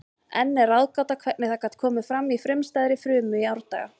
Enn er ráðgáta hvernig það gat komið fram í frumstæðri frumu í árdaga.